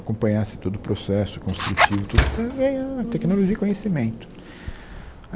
Acompanhassem todo o processo construtivo, tudo para ganhar tecnologia e conhecimento.